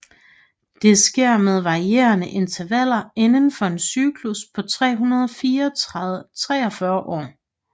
Det sker med varierende intervaller indenfor en cyklus på 343 år